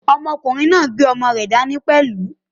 Ọmọkùnrin náà gbé ọmọ náà dání pẹ̀lú.